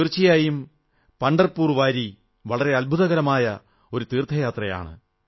തീർച്ചയായും പംഢർപുർ വാരി വളരെ അദ്ഭുതകരമായ തീർഥയാത്രയാണ്